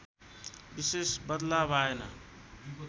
विशेष बदलाव आएन